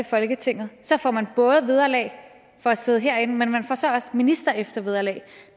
folketinget får man både vederlag for at sidde herinde men man får så også ministereftervederlag